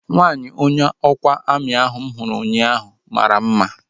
Nwaanyi onye ọkwa amị ahu mụ hụrụ ụnyaahụ mara mma